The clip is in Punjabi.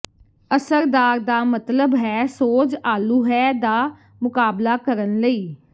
ਅਸਰਦਾਰ ਦਾ ਮਤਲਬ ਹੈ ਸੋਜ ਆਲੂ ਹੈ ਦਾ ਮੁਕਾਬਲਾ ਕਰਨ ਲਈ